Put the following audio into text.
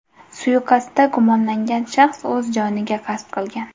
Suiqasdda gumonlangan shaxs o‘z joniga qasd qilgan.